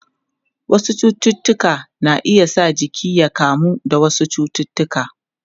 Wasu cututtuka na iya sa jiki ya iya kamuwa da wasu cututtuka.